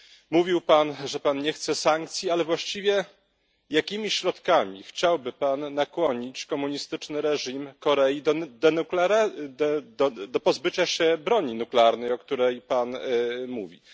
Mówił Pan, że nie chce sankcji, ale właściwie, jakimi środkami chciałby Pan nakłonić komunistyczny reżim Korei do pozbycia się broni nuklearnej, o której Pan mówi.